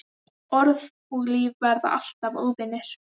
Orð og líf verða alltaf óvinir.